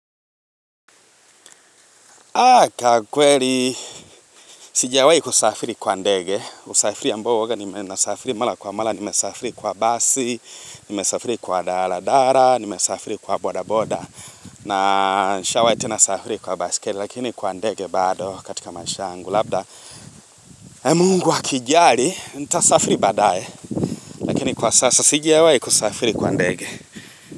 Aka kweli, sijawai kusafiri kwa ndege, usafiri ambao uwaga, nimesafiri mala kwa mala, nimesafiri kwa basi, nimesafiri kwa daradara, nimesafiri kwa boda boda, na nishawai tenasafiri kwa basi, lakini kwa ndege bado katika maisha angu, labda mungu akijali, nita safiri baadae, lakini kwa sasa, sijawai kusafiri kwa ndege.